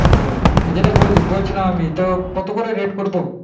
হ্যাঁ যেটা বলছিলাম আমি তো কত করে rate করবো